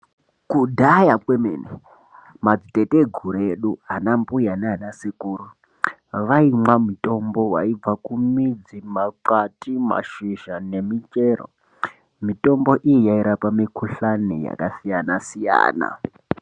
Kudhaya kwemene mateteguru edu ana mbuya neana sekuru waimwa mitombo waibva kumidzi , makwati, mashizha nemichero. Mitombo iyi yairspa mikuhlani yakasiyana siyana.